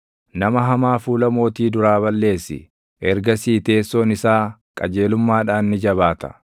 Nama hamaa fuula mootii duraa balleessi; ergasii teessoon isaa qajeelummaadhaan ni jabaata.